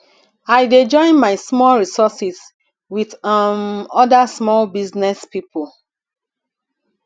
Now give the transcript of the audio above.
i dey join my small resource wit um oda small business pipo